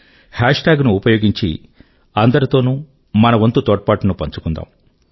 హేష్ tag ను ఉపయోగించి అందరితోనూ మన వంతు తోడ్పాటును పంచుకుందాం